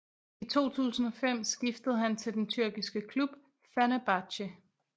I 2005 skiftede han til den tyrkiske klub Fenerbahçe